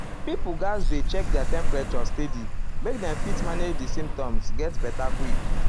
pipo gatz dey check their temperature steady make dem fit manage di symptoms get beta quick.